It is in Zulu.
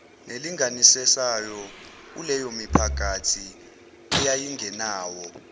nelinganisayo kuleyomiphakathi eyayingenawo